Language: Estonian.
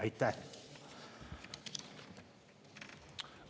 Aitäh!